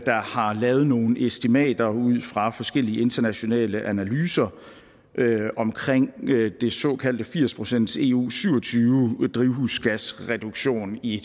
har lavet nogle estimater ud fra forskellige internationale analyser om den såkaldte firs procents eu syv og tyve drivhusgasreduktion i